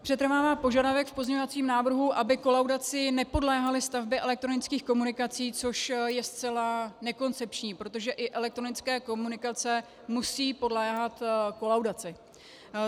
Přetrvává požadavek v pozměňovacím návrhu, aby kolaudaci nepodléhaly stavby elektronických komunikací, což je zcela nekoncepční, protože i elektronické komunikace musí podléhat kolaudaci.